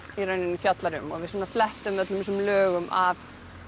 í rauninni fjallar um við flettum öllum þessum lögum af